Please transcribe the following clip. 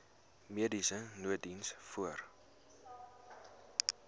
mediese nooddiens voor